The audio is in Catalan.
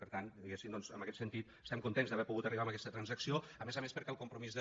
per tant diguéssim doncs en aquest sentit estem contents d’haver pogut arribar a aquesta transacció a més a més perquè el compromís de